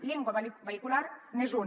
llengua vehicular n’és una